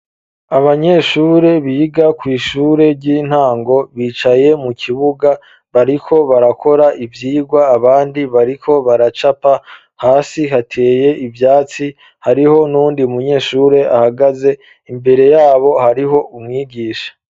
Abanyeshure biga kw'ishure ry'intango bicaye mu kibuga bariko barakora ivyigwa abani bariko baracapa, hasi hateye ivyatsi hariho n'uwundi munyeshure ahagaze, imbere yabo hariho umwigisha.